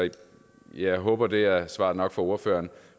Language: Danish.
jeg håber det er svar nok for ordføreren